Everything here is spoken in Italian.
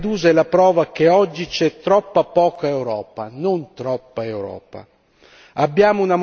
La tragedia di Lampedusa è la prova che oggi c'è troppa poca Europa, non troppa Europa!